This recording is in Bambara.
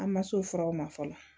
An ma se o furaw ma fɔlɔ